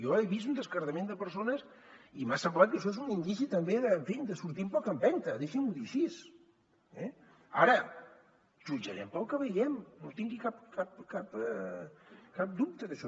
jo he vist un descartament de persones i m’ha semblat que això és un indici també en fi de sortir amb poca empenta deixi m’ho dir així eh ara jutjarem pel que vegem no en tingui cap dubte d’això